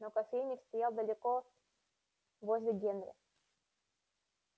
но кофейник стоял далеко возле генри